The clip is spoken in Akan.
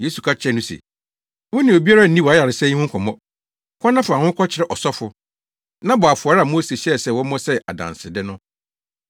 Yesu ka kyerɛɛ no se, “Wo ne obiara nni wʼayaresa yi ho nkɔmmɔ. Kɔ na fa wo ho kɔkyerɛ ɔsɔfo, na bɔ afɔre a Mose hyɛɛ sɛ wɔmmɔ sɛ adansede no.”